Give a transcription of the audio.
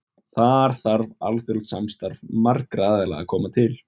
Þar þarf alþjóðlegt samstarf marga aðila að koma til.